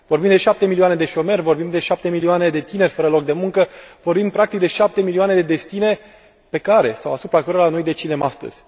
Vorbim de 7 milioane de șomeri, vorbim de 7 milioane de tineri fără loc de muncă, vorbim, practic, de 7 milioane de destine pe care sau asupra cărora noi decidem astăzi.